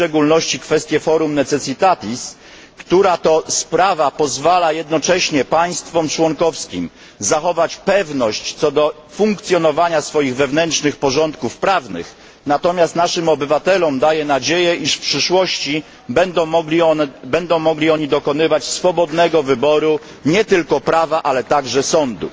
w szczególności kwestie forum necessitatis która to sprawa pozwala jednocześnie państwom członkowskim zachować pewność co do funkcjonowania swoich wewnętrznych porządków prawnych, natomiast naszym obywatelom daje nadzieję, iż w przyszłości będą mogli oni dokonywać swobodnego wyboru nie tylko prawa, ale także sądu.